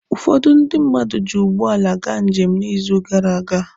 Ụfọdụ ndị mmadụ ji ụgbọala gaa njem n'izu gara aga.